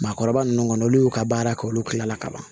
Maakɔrɔba nunnu kɔni olu y'u ka baara kɛ olu kila la ka ban